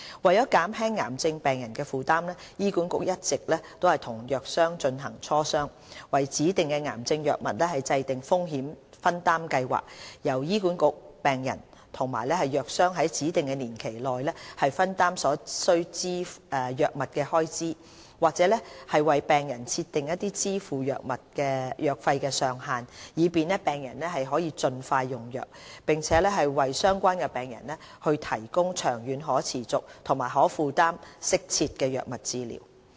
為減輕癌症病人的負擔，醫管局一直與藥商進行磋商，為指定的癌症藥物制訂風險分擔計劃，由醫管局、病人與藥商在指定年期內分擔所需的藥物開支，或為病人設定支付藥費的上限，以便病人得以盡快用藥，並為相關病人提供長遠可持續、可負擔和適切的藥物治療。